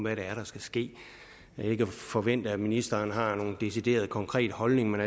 er der skal ske jeg forventer ikke at ministeren har nogen decideret konkret holdning men